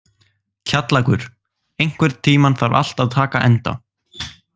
Kjallakur, einhvern tímann þarf allt að taka enda.